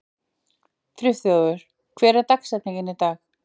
Friðþjófur, hver er dagsetningin í dag?